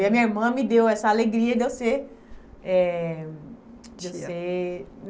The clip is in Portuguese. E a minha irmã me deu essa alegria de eu ser eh, de eu ser, tia.